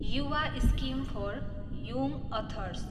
Yuva scheme for young others